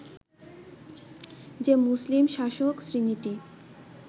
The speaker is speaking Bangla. যে মুসলিম শাসক শ্রেণীটি